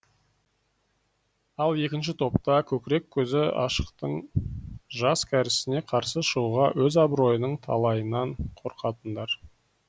ал екінші топта көкірек көзі ашықтың жас кәрісіне қарсы шығуға өз абыройының талайынан қорқатындар